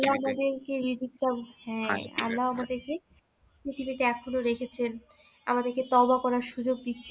আল্লাহ আমাদেরকে হ্যাঁ আল্লাহ আমাদেরকে পৃথিবীতে এখনও রেখেছেন আমাদেরকে তবা করার সুযোগ দিচ্ছেন